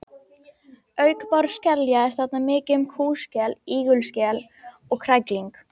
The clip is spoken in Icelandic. Auk báruskelja er þarna mikið um kúskel, ígulskel og krækling.